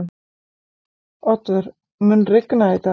Oddvör, mun rigna í dag?